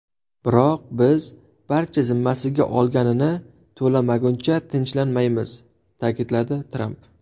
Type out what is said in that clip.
Biroq biz barcha zimmasiga olganini to‘lamaguncha tinchlanmaymiz”, ta’kidladi Tramp.